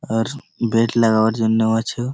আর bet লাগাবার জন্যও আছো।